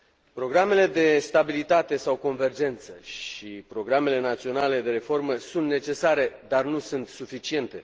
Programele de stabilitate sau convergență și programele naționale de reformă sunt necesare, dar nu sunt suficiente.